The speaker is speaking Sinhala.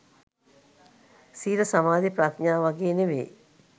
සීල සමාධි ප්‍රඥා වගේ නෙවෙයි